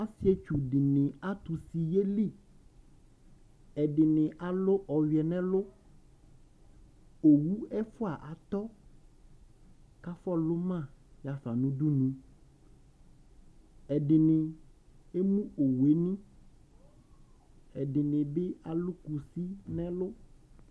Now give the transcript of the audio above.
Osietsu dini atu usi yeli ɛdini alu ɔyɛ nɛlu owu ɛfua atɔ kafɔlu ma yɔɣafa nu udunu ɛdini emu owuni ɛdinibi alu kusi nɛlu